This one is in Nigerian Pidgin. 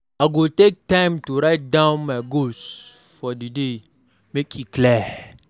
I go take time to write down my goals for di day, make e clear.